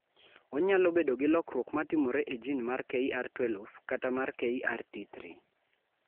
Onyalo bedo gi lokruok ma timore e jin mar KRT12 kata mar KRT3.